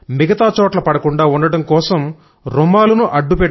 మిగతా చోట్ల పడకుండా ఉండడం కోసం రుమాలును అడ్డం